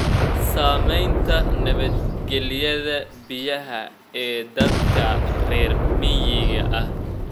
Saamaynta nabadgelyada biyaha ee dadka reer miyiga ah.